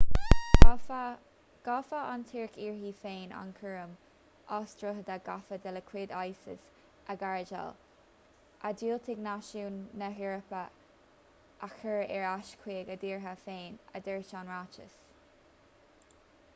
ghabhfadh an tuirc uirthi féin an cúram as trodaithe gafa de chuid isis a ghardáil a dhiúltaigh náisiúin na heorpa a chur ar ais chuig a dtíortha féin a dúirt an ráiteas